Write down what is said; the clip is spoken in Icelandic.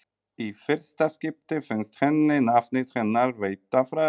Í fyrsta skipti finnst henni nafnið hennar veita frelsi.